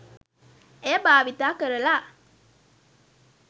එය භාවිත කරලා